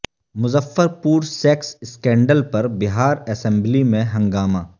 مظفر پور sex scandal پر Bihar assembly میں ہنگامہ